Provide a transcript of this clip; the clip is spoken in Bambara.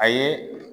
A ye